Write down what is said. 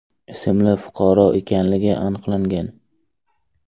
ismli fuqaro ekanligi aniqlangan.